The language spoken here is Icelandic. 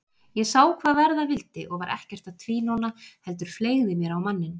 Ég sá hvað verða vildi og var ekkert að tvínóna heldur fleygði mér á manninn.